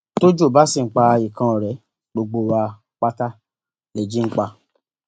tọjọ bá sì ń pa ikán ọrẹ gbogbo wa pátá lèji ń pa